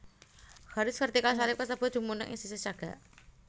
Garis vertikal salib kasebut dumunung ing sisih cagak